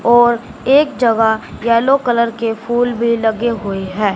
और एक जगह येलो कलर के फूल भी लगे हुए हैं।